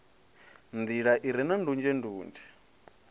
nḓila i re na ndunzhendunzhe